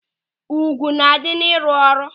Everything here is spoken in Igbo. Ùgwù na-adị n'ịrụ ọrụ.